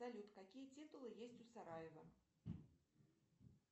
салют какие титулы есть у сараево